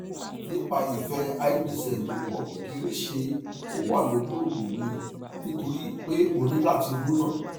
nipa ife ibzlopo kekere se o wa lori oogun mi nitori pe oni lati ro na